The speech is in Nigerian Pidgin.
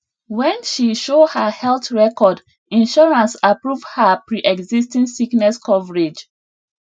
when she show her health record insurance approve her preexisting sickness coverage